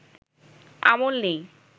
আমল নেই